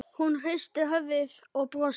Hún hristir höfuðið og brosir.